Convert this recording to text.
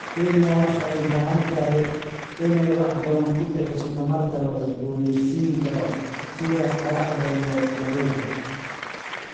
Kenya waxay u baahan tahay inay wax badan ku bixiso tamarta la cusboonaysiin karo sida qoraxda iyo dabaysha.